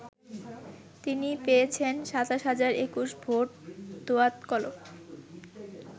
তিনি পেয়েছেন ২৭ হাজার ২১ ভোট দোয়াত-কলম ।